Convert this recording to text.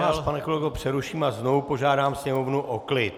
Ještě vás, pane kolego, přeruším a znovu požádám sněmovnu o klid.